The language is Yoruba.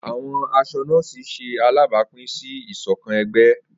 Awọn aṣọ nọ́ọ̀sì ṣe alabapin si isokan ẹgbẹ.